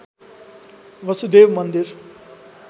वसुदेव मन्दिर